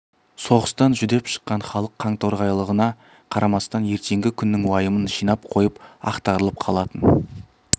соғыстан жүдеп шыққан халық қоңторғайлығына қарамастан ертеңгі күннің уайымын жинап қойып ақтарылып қалатын